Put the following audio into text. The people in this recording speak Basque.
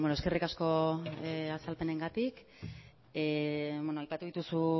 eskerrik asko azalpenengatik aipatu dituzu